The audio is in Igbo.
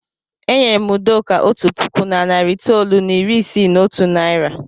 E nyere m Udoka otu puku na narị itoolu na iri isii na otu naira.